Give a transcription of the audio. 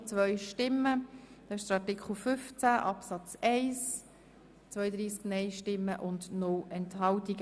Der Grosse Rat hat den Antrag SiK und Regierungsrat angenommen.